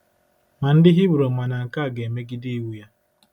Ma ndị Hibru ma na nke a ga-emegide iwu ya.